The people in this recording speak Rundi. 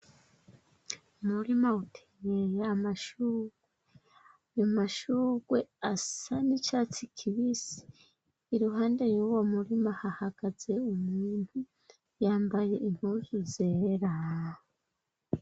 Umurima uteye amashugwe asa n'icatsi kibisi iruhande y'uwomurima hahagaze umuntu yambaye impuzu zera.